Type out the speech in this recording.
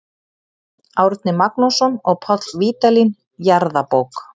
Árni Magnússon og Páll Vídalín, Jarðabók.